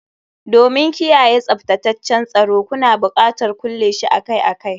Domin kiyaye tsaftataccen tsoro, kuna buƙatar kulle shi akai-akai